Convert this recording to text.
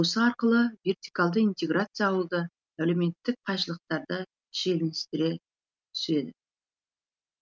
осы арқылы вертикалды интеграция ауылдағы әлеуметтік қайшылықтарды шиеленістіре түседі